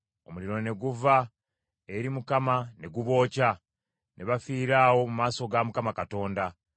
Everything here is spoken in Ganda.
Omuliro ne guva eri Mukama ne gubookya, ne bafiira awo mu maaso ga Mukama Katonda.